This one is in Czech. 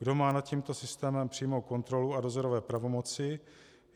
Kdo má nad tímto systémem přímou kontrolu a dozorové pravomoci?